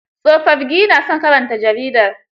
Tsofafgi na son karanta jarida.